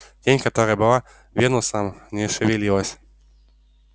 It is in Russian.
тень которая была венусом не шевелилась